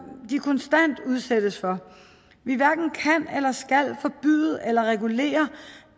de konstant udsættes for vi hverken kan eller skal forbyde eller regulere